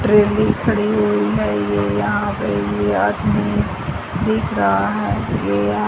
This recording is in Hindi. ट्रेने खड़ी हुई है ये यहां पे ये आदमी दिख रहा है ये यहा --